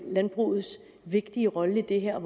landbrugets vigtige rolle i det her